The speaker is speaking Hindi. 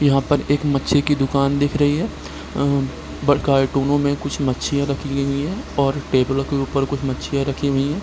यहाँ पर एक मछली की दुकान दिख रही है अ दोनों में कुछ मछलियाँ रखी हुई है और टेबलो के उपर कुछ मछलियाँ रखी हुई है।